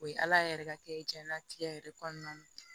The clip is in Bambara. O ye ala yɛrɛ ka kɛ diɲɛnatigɛ yɛrɛ kɔnɔna na